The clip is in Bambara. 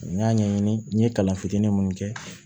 N y'a ɲɛɲini n ye kalan fitinin mun kɛ